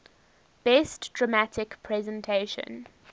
best dramatic presentation